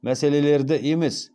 мәселелерді емес